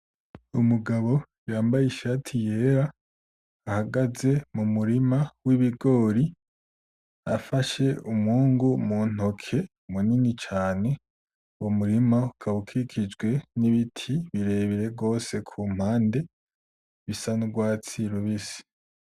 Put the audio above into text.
Umugabo yambaye ishati yera ahagaze m'umurima w'ibigori afashe umwungu muntoke munini cane, uwo murima ukaba ukikijwe n'ibiti birebire gose kumpande bisa n'urwatsi rubisi.